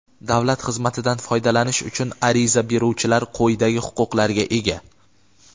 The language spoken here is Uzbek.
Davlat xizmatidan foydalanish uchun ariza beruvchilar quyidagi huquqlarga ega:.